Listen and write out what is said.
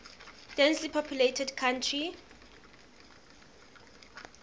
densely populated country